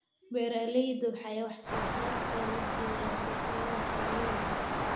Beeraleydu waxay wax soo saarkooda geeyaan suuqyada tuulooyinka.